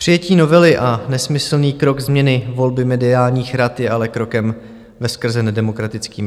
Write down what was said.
Přijetí novely a nesmyslný krok změny volby mediálních rad je ale krokem veskrze nedemokratickým.